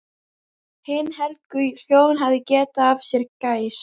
Hin helgu hjón hafa getið af sér gæs.